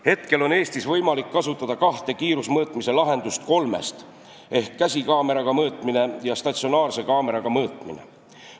Hetkel on Eestis võimalik kasutada kahte kiirusemõõtmise lahendust kolmest: käsikaameraga mõõtmist ja statsionaarse kaameraga mõõtmist.